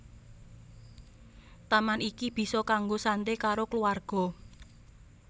Taman iki bisa kanggo santé karo kluwarga